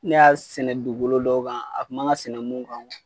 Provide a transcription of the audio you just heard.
Ne y'a sɛnɛ dugukolo dɔw kan a kun man ka sɛnɛ mun kan.